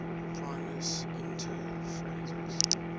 primus inter pares